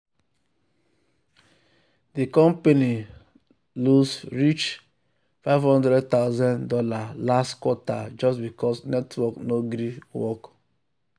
the company lose reach fifty thousand dollars0 last quarter just because network no gree work. work.